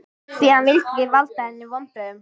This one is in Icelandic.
Því hann vildi ekki valda henni vonbrigðum.